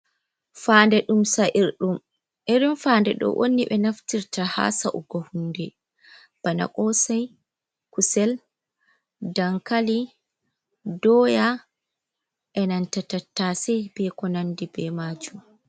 Fande ɗum sa'irɗum irin fande ɗo woni ɓe naftirta ha sa’ugo hunde bana kosai, kusel, dankali doya, e nanta tattasei bekonandi be maju.